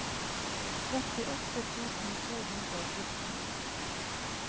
trettiåtte tusen to hundre og fjorten